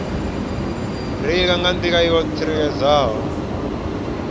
reila nga nḓila yo tsireledzeaho